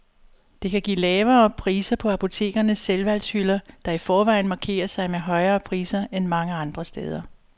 Det kan give lavere priser på apotekernes selvvalgshylder, der i forvejen markerer sig med højere priser end mange andre steder.